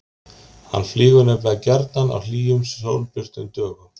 Hann flýgur nefnilega gjarnan á hlýjum, sólbjörtum dögum.